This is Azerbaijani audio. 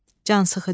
Cansıxıcı.